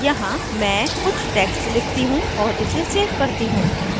यहाँ मैं कुछ text लिखती हूँ और इसे सेव करती हूँ